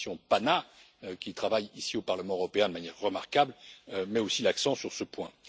La commission PANA, qui travaille ici au Parlement européen de manière remarquable, met aussi l'accent sur ce point.